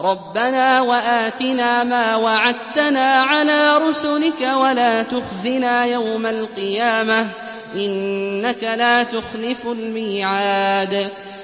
رَبَّنَا وَآتِنَا مَا وَعَدتَّنَا عَلَىٰ رُسُلِكَ وَلَا تُخْزِنَا يَوْمَ الْقِيَامَةِ ۗ إِنَّكَ لَا تُخْلِفُ الْمِيعَادَ